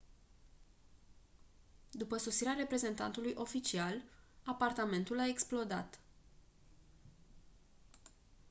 după sosirea reprezentantului oficial apartamentul a explodat